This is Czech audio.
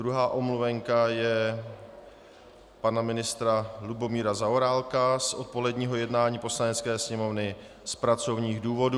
Druhá omluvenka je pana ministra Lubomíra Zaorálka z odpoledního jednání Poslanecké sněmovny z pracovních důvodů.